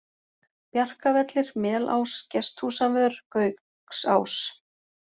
Bjarkavellir, Melás, Gesthúsavör, Gauksás